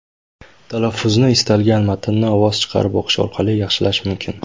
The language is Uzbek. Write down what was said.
Talaffuzni istalgan matnni ovoz chiqarib o‘qish orqali yaxshilash mumkin.